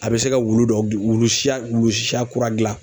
A bɛ se ka wulu dɔ gil wulu siya wulu siya kura dilan